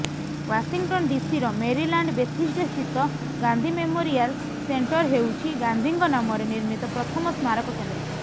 Washington ଡିସିର Maryland ବେଥିସ୍ଡାସ୍ଥିତ Gandhi memorial centre ହେଉଛି ଗାନ୍ଧିଙ୍କ ନାମରେ ନିର୍ମିତ ପ୍ରଥମ ସ୍ମାରକ କେନ୍ଦ୍ର